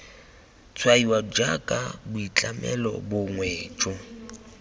tshwaiwa jaaka boitlhamelo bongwe jo